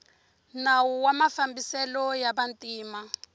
nawu wa mafambiselo ya vantima